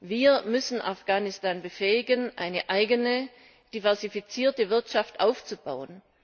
Wir müssen Afghanistan befähigen, eine eigene diversifizierte Wirtschaft aufzubauen.